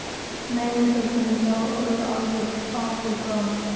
Nei, nei, Þorfinnur, það er alveg af og frá!